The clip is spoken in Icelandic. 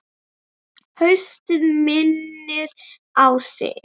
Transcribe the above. Haustið minnir á sig.